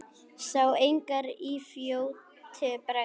Sá engar í fljótu bragði.